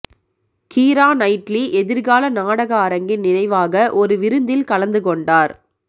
Keera Knightley எதிர்கால நாடக அரங்கின் நினைவாக ஒரு விருந்தில் கலந்து கொண்டார்